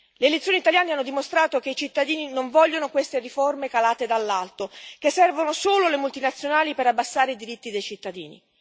Le elezioni italiane hanno dimostrato che i cittadini non vogliono queste riforme calate dall'alto, che servono solo le multinazionali per abbassare i diritti dei cittadini.